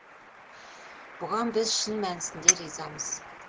бұған біз шын мәнісінде разымыз